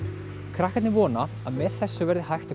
krakkarnir vona að með þessu verði hægt að